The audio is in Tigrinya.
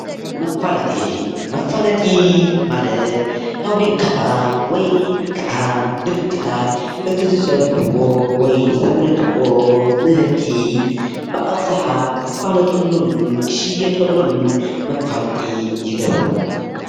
መፋለጢ፡- መፍለጢ ማለት ፋብሪካታት ወይ ከዓ ድርጅታት እቲ ዝስርሕዎ ወይ ዘምርትዎ ምህርቲ ብአብዛሓ ክፋለጦሎምን ክሽየጠሎምን መፋለጢ ይገብሩ፡፡